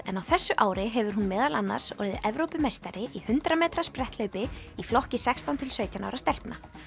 en á þessu ári hefur hún meðal annars orðið Evrópumeistari í hundrað metra spretthlaupi í flokki sextán til sautján ára stelpna